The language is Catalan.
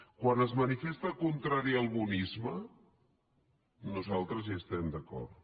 quan es manifesta contrari al bonisme nosaltres hi estem d’acord